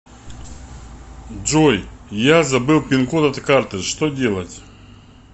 джой я забыл пин код от карты что делать